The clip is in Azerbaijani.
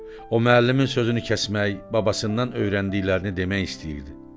O müəllimin sözünü kəsmək, babasından öyrəndiklərini demək istəyirdi.